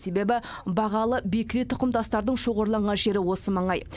себебі бағалы бекіре тұқымдастардың шоғырланған жері осы маңай